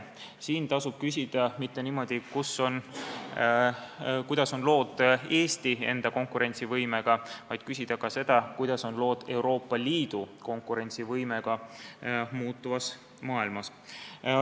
Siin tuleb küsida mitte seda, kuidas on lood Eesti enda konkurentsivõimega, vaid seda, kuidas on lood Euroopa Liidu konkurentsivõimega muutuvas maailmas.